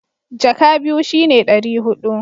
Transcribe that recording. jaka biyu shi ne dari hudu